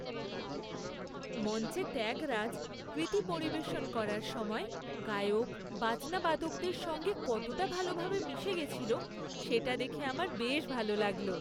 মঞ্চে ত্যাগরাজ কৃতি পরিবেশন করার সময়, গায়ক বাজনা বাদকদের সঙ্গে কতটা ভালভাবে মিশে গেছিল, সেটা দেখে আমার বেশ ভালো লাগল।